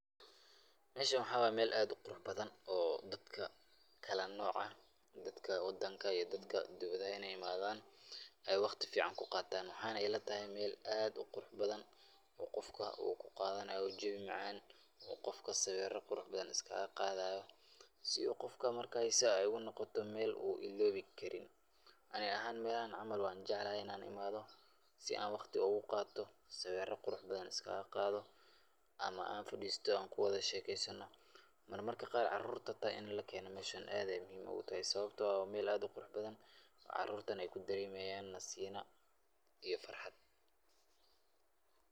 Meeshan mxaa waye meel aad uqurux badan oo dadka kala nooca, dadka wadanka iyo dadka dibadaha inaay imaadan, aay waqti fican ku qaatan, mxaay na ila tahay meel aad uqurux badan oo qofka uu kuqaadanayo jawi macan oo qofka sawiira qurux badan is kaaga qaadayo si uu qofka markaasi aay ugu noqoto meel uu iloobi Karin, ani ahaan meelahan camal waan jeclahay inaan imaado, si aan waqti ugu qaato, sawiira qurux badan is kaaga qaado, ama aan fadiisto aan kuwada shekeysano, marmarka qaar caruurta xitaa in lakeeno meeshan aad ayeey muhiim utahay sababta oo ah waa meel aad uqurux badan caruurtana aay ku dareemayaan nasiino iyo farxad.